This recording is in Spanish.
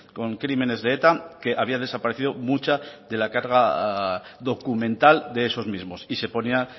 con crímenes de eta que había desaparecido mucha de la carga documental de esos mismos y se ponía